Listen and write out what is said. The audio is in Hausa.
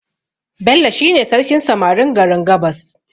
Bello shi ne sarkin samarin garin gabas